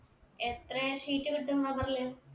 എത്രെ sheet കിട്ടും rubber ല്